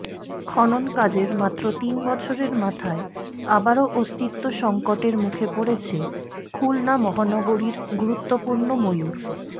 খনন কাজের মাত্র তিন বছরের মাথায় আবারও অস্তিত্ব সংকটের মুখে পড়েছে খুলনা মহানগরীর গুরুত্বপূর্ণ ময়ূর